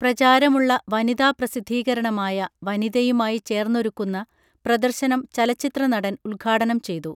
പ്രചാരമുള്ള വനിതാ പ്രസിദ്ധീകരണമായ വനിതയുമായി ചേർന്നാരുക്കുന്ന പ്രദർശനം ചലചിത്രനടൻ ഉദ്ഘാടനം ചെയ്തു